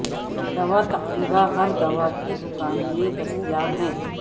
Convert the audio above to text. دوا تقریبا ہر دوا کی دکان میں دستیاب ہے